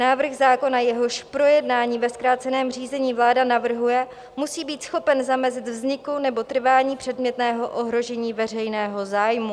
Návrh zákona, jehož projednání ve zkráceném řízení vláda navrhuje, musí být schopen zamezit vzniku nebo trvání předmětného ohrožení veřejného zájmu.